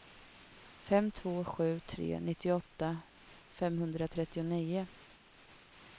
fem två sju tre nittioåtta femhundratrettionio